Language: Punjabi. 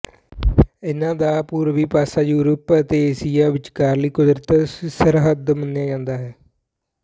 ਇਹਨਾਂ ਦਾ ਪੂਰਬੀ ਪਾਸਾ ਯੂਰਪ ਅਤੇ ਏਸ਼ੀਆ ਵਿਚਕਾਰਲੀ ਕੁਦਰਤੀ ਸਰਹੱਦ ਮੰਨਿਆ ਜਾਂਦਾ ਹੈ